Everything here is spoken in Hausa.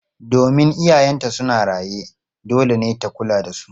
Domin iyayenta suna raye, dole ne ta kula da su.